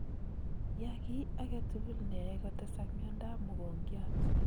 Yaa ki agetugul neae kotesak miondo ab mogongiat